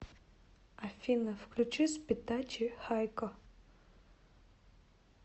афина включи спитачи хайко